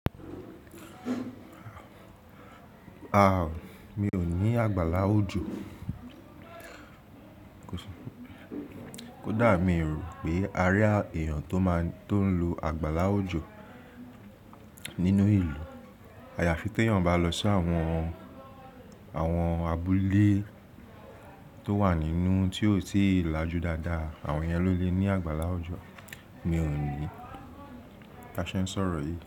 Aà, mi ò ní àgbàlá òjò. Kódà mi rò pé àárí èèyàn tó máa tó ń lo àgbàlá òjò nínú ìlú. Àyàfi tí èèyàn bá lọ sí àwọn, àwọn abúlé tó wà nínú tí ó sì lajú dáadáa, àwọn yẹn ló lè ní àgbàlá òjò. Mi ò ní. Ta ṣẹ n sọ̀rọ̀ yìí.